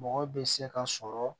Mɔgɔ bɛ se ka sɔrɔ